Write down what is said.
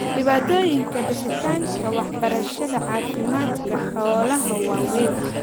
Dhibaatooyinka bixinta waxbarashada caafimaadka xoolaha waa weyn.